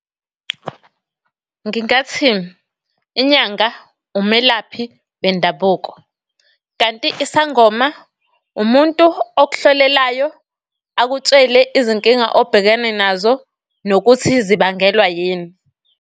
Ngingathi inyanga umelaphi bendabuko, kanti isangoma umuntu okuhlolelayo, akutshele izinkinga obhekene nazo, nokuthi zibangelwa yini.